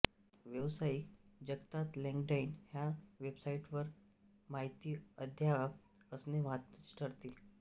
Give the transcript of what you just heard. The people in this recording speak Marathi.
व्यावसायिक जगतात लिंक्डइन ह्य़ा वेबसाइटवर माहिती अद्ययावत असणे महत्त्वाचे ठरते